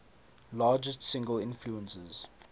largest single influences